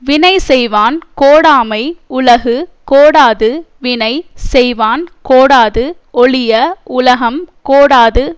வினை செய்வான் கோடாமை உலகு கோடாது வினை செய்வான் கோடாது ஒழிய உலகம் கோடாது